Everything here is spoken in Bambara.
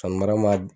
Sanni mara ma